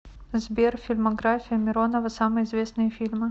сбер фильмография миронова самые известные фильмы